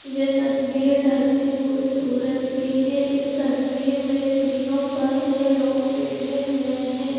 यह तस्वीर ढलते हुए सूरज की है इस तस्वीर मे के लोग बैठे हुए हैं।